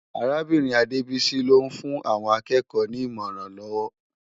Árábirin Adebisi ló n fún áwòn ákèékò ni imòrán lòw